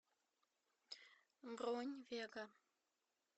бронь вега